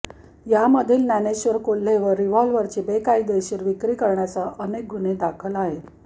यामधील ज्ञानेश्वर कोल्हेवर रिव्हॉल्वरची बेकायदेशीर विक्री करण्यासह अनेक गुन्हे दाखल आहेत